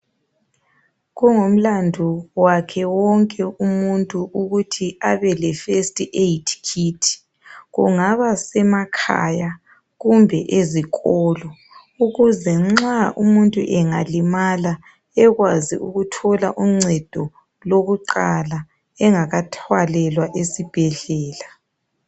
Kungumlandu wakhe wonke umuntu ukuthi abeleFirst Aid Kit. Kungaba semakhaya, kumbe ezikolo. Ukuze nxa umuntu engalimala, ekwazi ukuthola uncedo lokuqala, engakathwalelwa esibhedlela.